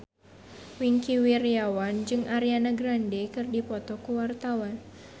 Wingky Wiryawan jeung Ariana Grande keur dipoto ku wartawan